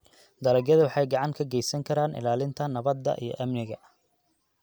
Dalagyadu waxay gacan ka geysan karaan ilaalinta nabadda iyo amniga.